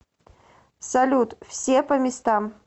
салют все по местам